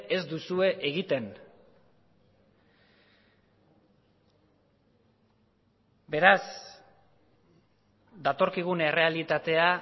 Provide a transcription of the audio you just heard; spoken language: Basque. ez duzue egiten beraz datorkigun errealitatea